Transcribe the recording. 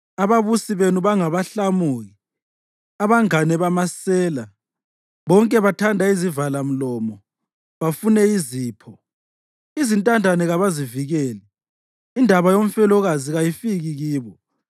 Ababusi benu bangabahlamuki, abangane bamasela; bonke bathanda izivalamlomo, bafune izipho. Izintandane kabazivikeli; indaba yomfelokazi kayifiki kibo.